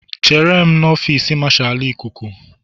Chere m n'ọfịs Marshal ikuku